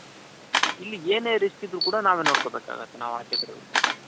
ಇಲ್ಲಿ ಏನೇ risk ಇದ್ರು ಕೂಡ ನಾವೇ ನೋಡ್ಕೊ ಬೇಕಾಗುತ್ತೆ ನಾವ್ ಆಚೆಗಡೆ ಅವರಿಗೆ ಕೊಟ್ಟಾಗ.